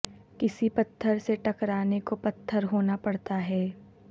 کسی پتھر سے ٹکرانے کو پتھر ہونا پڑتا ہے